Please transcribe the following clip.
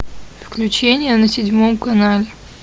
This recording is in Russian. включение на седьмом канале